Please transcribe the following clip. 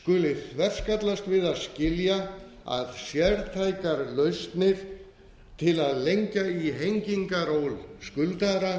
skuli þverskallast við að skilja að sértækar lausnir til að hengja í hengingaról skuldara